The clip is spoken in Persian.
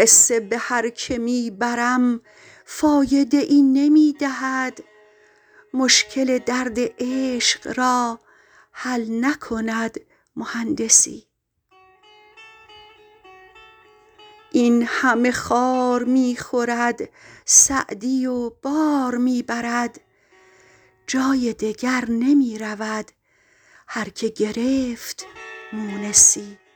قصه به هر که می برم فایده ای نمی دهد مشکل درد عشق را حل نکند مهندسی این همه خار می خورد سعدی و بار می برد جای دگر نمی رود هر که گرفت مونسی